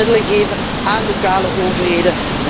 Laten wij meer middelen geven aan lokale overheden.